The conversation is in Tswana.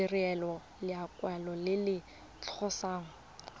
direlwa lekwalo le le tlhalosang